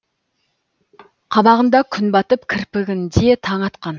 қабағында күн батып кірпігінде таң атқан